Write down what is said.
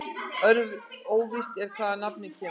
Óvíst er hvaðan nafnið kemur.